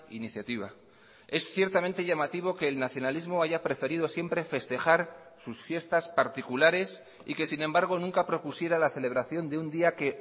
iniciativa es ciertamente llamativo que el nacionalismo haya preferido siempre festejar sus fiestas particulares y que sin embargo nunca propusiera la celebración de un día que